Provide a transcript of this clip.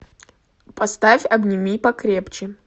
поставь обними покрепче